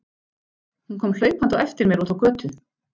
Hún kom hlaupandi á eftir mér út á götu.